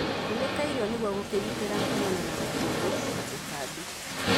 Kunĩka irio nĩguo gũkĩgitĩra kumana na rũkũngu na tutambi.